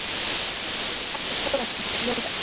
Ennfremur las Edda Þórarinsdóttir ljóð eftir